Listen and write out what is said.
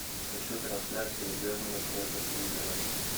хочу трансляцию бернли против ливера